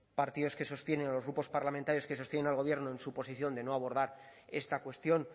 partidos que sostienen los grupos parlamentarios que sostienen al gobierno en su posición de no abordar esta cuestión